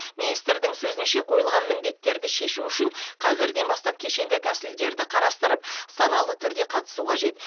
министрдің сөзінше қойылған міндеттерді шешу үшін қазірден бастап кешенді тәсілдерді қарастырып саналы түрде қатысу қажет